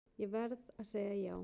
Ég verð að segja já.